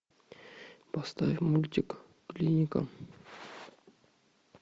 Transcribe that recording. поставь мультик клиника